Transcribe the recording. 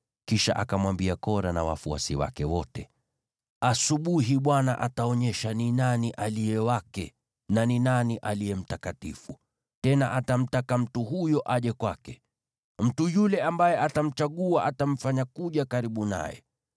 Kisha akamwambia Kora na wafuasi wake wote: “Asubuhi Bwana ataonyesha ni nani aliye wake na ni nani aliye mtakatifu, tena atamtaka mtu huyo aje kwake. Mtu yule ambaye atamchagua atamfanya kuja karibu naye.